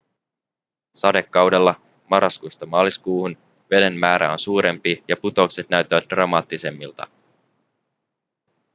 sadekaudella marraskuusta maaliskuuhun veden määrä on suurempi ja putoukset näyttävät dramaattisemmilta